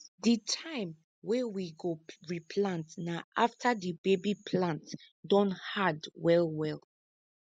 di time wey we go replant na after the baby plants don hard well well